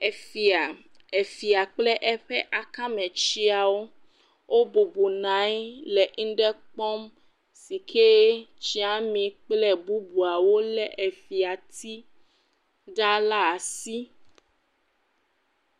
Efia, efia kple eƒe akametsiawo wobɔbɔnɔ anyi le ŋɖe kpɔm si ke tsiami kple bubuawo lé fiati ga la asi.